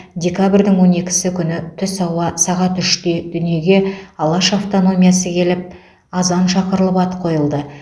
декабрьдің он екісі күні түс ауа сағат үште дүниеге алаш автономиясы келіп азан шақырылып ат қойылды